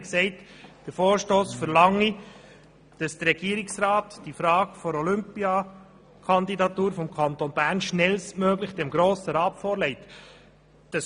Sie sagte, der Vorstoss verlange, dass der Regierungsrat die Frage der Olympiakandidatur des Kantons Bern schnellstmöglich dem Grossen Rat vorlegen müsse.